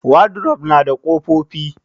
Wadrof nada ƙofofi.